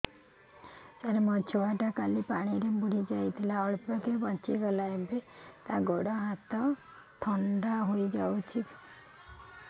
ସାର ମୋ ଛୁଆ ଟା କାଲି ପାଣି ରେ ବୁଡି ଯାଇଥିଲା ଅଳ୍ପ କି ବଞ୍ଚି ଗଲା ଏବେ ତା ଗୋଡ଼ ହାତ ଥଣ୍ଡା ହେଇଯାଉଛି